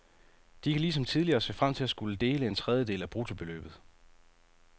De kan ligesom tidligere se frem til at skulle dele en tredjedel af bruttobeløbet.